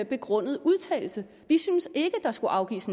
begrundet udtalelse vi syntes ikke der skulle afgives